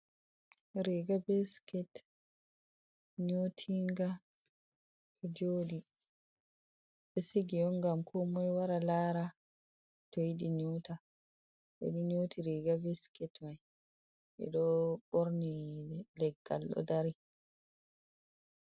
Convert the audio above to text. Riga be siket, nyotinga joɗi, ɓe sigi on ngam ko moi wara lara, toyidi nyota, ɓe nyoti riga be siket mai ɓe ɗo borni leggal ɗo dari.